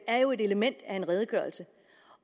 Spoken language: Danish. er jo et element af en redegørelse